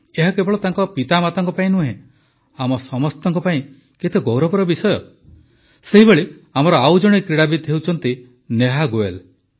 ଏହା କେବଳ ତାଙ୍କ ପିତାମାତାଙ୍କ ପାଇଁ ନୁହେଁ ଆମ ସମସ୍ତଙ୍କ ପାଇଁ କେତେ ଗୌରବର ବିଷୟ ସେହିଭଳି ଆମର ଆଉ ଜଣେ କ୍ରୀଡ଼ାବିତ ହେଉଛନ୍ତି ନେହା ଗୋୟଲ